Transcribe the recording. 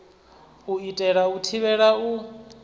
u itela u thivhela u